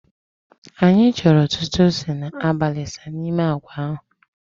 Anyị chọrọ ọtụtụ ose na alibasa n'ime agwa ahụ